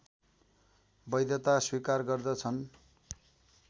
वैधता स्वीकार गर्दछन्